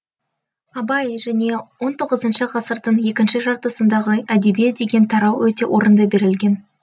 абай және он тоғызыншы ғасырдың екінші жартысындағы әдебиет деген тарау өте орынды берілген